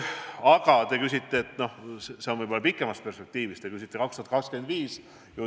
Aga see on võib-olla pikemas perspektiivis, te küsisite aasta 2025 kohta.